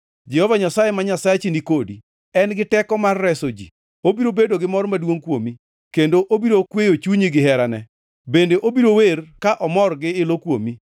Jehova Nyasaye ma Nyasachi ni kodi, en gi teko mar reso ji. Obiro bedo gi mor maduongʼ kuomi, kendo obiro kweyo chunyi gi herane, bende obiro wer ka omor gi ilo kuomi.”